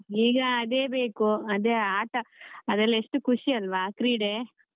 ಈಗ ಅದೇ ಬೇಕು ಅದೇ ಆಟಾ ಅದೆಲ್ಲ ಎಷ್ಟು ಖುಷಿ ಅಲ್ವ ಕ್ರೀಡೆ.